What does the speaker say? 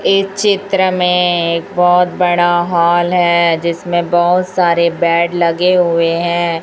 इस चित्र में एक बहोत बड़ा हॉल हैं जिसमें बहोत सारे बैड़ लगे हुए हैं।